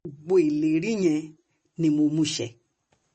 gbogbo ìlérí yẹn ni mo mú mú ṣẹ